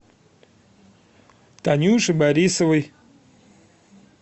танюше борисовой